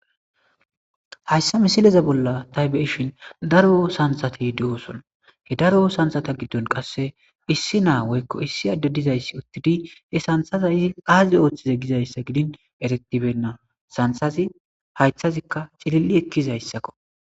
Hayssa misileza bolla ta be'ishin daro sansati de7oson he daro sansata giddon qasse issi naa woykko issi adde dizayssi uttidi he santaa y qaazi ooththize gizayssa gidin eretibenna santhazi haythazikka cilil'i ekkizayssakko.